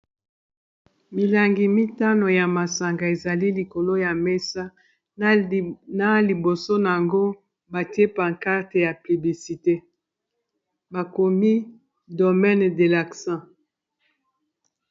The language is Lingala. Milangi mitano ya masanga ezali likolo ya mesa na liboso na yango batie pakarte ya piblisite bakomi Domaine de l'accent.